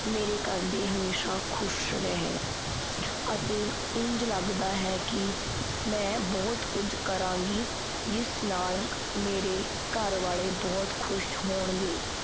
ਮੇਰੇ ਘਰਦੇ ਹਮੇਸ਼ਾ ਖੁਸ਼ ਰਹਿਣ ਅਤੇ ਇੰਝ ਲੱਗਦਾ ਹੈ ਕੀ ਮੈਂ ਬਹੁਤ ਕੁਝ ਕਰਾਂਗੀ, ਜਿਸ ਨਾਲ ਮੇਰੇ ਘਰ ਵਾਲੇ ਬਹੁਤ ਖੁਸ਼ ਹੋਣਗੇ।